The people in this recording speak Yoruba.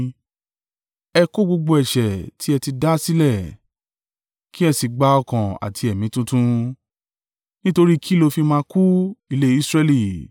Ẹ kọ̀ gbogbo ẹ̀ṣẹ̀ ti ẹ ti dá sílẹ̀, kí ẹ sì gba ọkàn àti ẹ̀mí tuntun. Nítorí kí ló fi máa kú, ilé Israẹli?